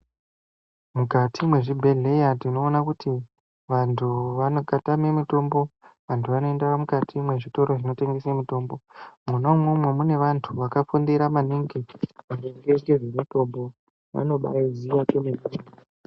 Mukati mwezvibhehleya tinoona kuti vantu vakatame mitombo vantu vanoenda mukati mwezvitoro zvinotengese mitombo. Mwona umwomwo mune vantu vakafundira maningi maringe ngezvemitombo, vanobaiziya kwememne.